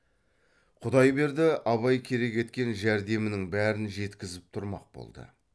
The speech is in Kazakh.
құдайберді абай керек еткен жәрдемінің бәрін жеткізіп тұрмақ болды